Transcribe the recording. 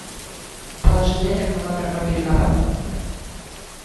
положи денег на номер мобильного